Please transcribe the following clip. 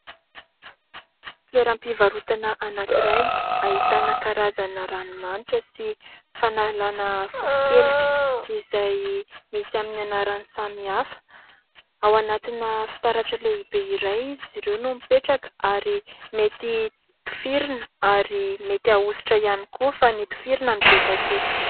Toeram-pivarotana anankiray, ahitana karazana ranomanitra sy fanalana fofonkelika izay misy amin'ny anarany samihafa. Ao anatina fitaratra lehibe iray izy ireo no mipetraka ary mety tifirina ary mety ahosotra ihany koa fa ny tifirina ny betsaka eto.